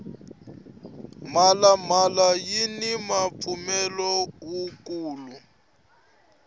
mhala mhala yini mpfumawulo wu kulu